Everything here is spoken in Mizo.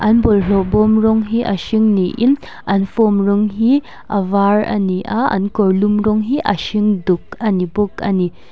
an bawlhlawh bawm rawng hi a hring niin an form rawng hi a var a ni a an kawrlum rawng hi a hring duk a ni bawk a ni.